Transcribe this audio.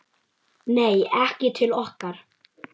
Nei, ekki til okkar